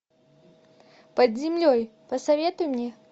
под землей посоветуй мне